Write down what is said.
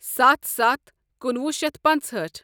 ستَھ ستَھ کُنوُہ شیتھ پنٛژہأٹھ۔